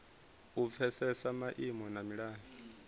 u pfesesa maimo na milayo